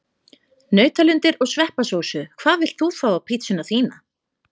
Nautalundir og sveppasósu Hvað vilt þú fá á pizzuna þína?